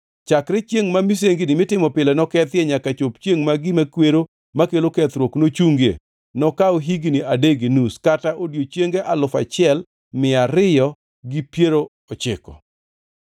“Chakre chiengʼ ma misengini mitimo pile nokethie, nyaka chop chiengʼ ma gima kwero makelo kethruok nochungie, nokaw higni adek gi nus kata odiechienge alufu achiel mia ariyo gi piero ochiko (1,290).